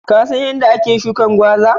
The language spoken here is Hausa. Ka San yadda ake shukin gwaza?